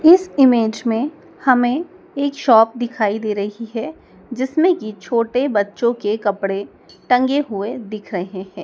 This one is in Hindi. इस इमेज में हमें एक शॉप दिखाई दे रही है जिसमें की छोटे बच्चों के कपड़े टंगे हुए दिख रहे हैं।